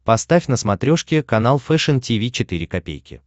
поставь на смотрешке канал фэшн ти ви четыре ка